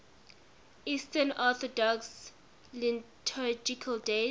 eastern orthodox liturgical days